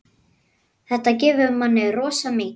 Þetta gefur manni rosa mikið.